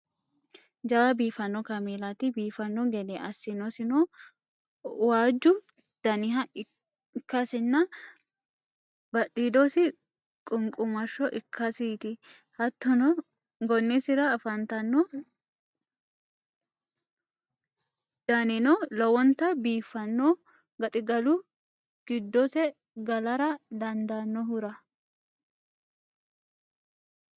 jawa biifano kameelati biifano gedde asinosiinno waaju daniha ikasina badhidosi qunqumasho ikasiiti hatonno gonnesira afanitanno da'nneno lowonta biifano gaxigalu giddose galara dandaanohura.